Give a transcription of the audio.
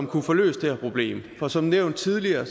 kunne få løst det her problem for som nævnt tidligere